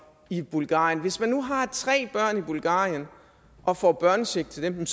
i bulgarien hvis man nu har tre børn i bulgarien og får børnecheck til dem